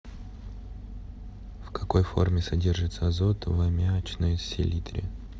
в какой форме содержится азот в аммиачной селитре